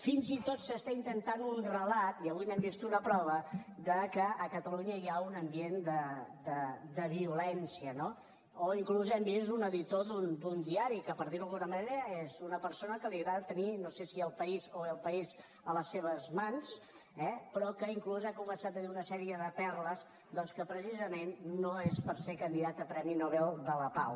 fins i tot s’està intentant un relat i avui n’hem vist una prova de que a catalunya hi ha un ambient de violència no o inclús hem vist un editor d’un diari que per dir ho d’alguna manera és una persona que li agrada tenir no sé si el país o el país a les seves mans eh però que inclús ha començat a dir una sèrie de perles doncs que precisament no és per ser candidat a ser premi nobel de la pau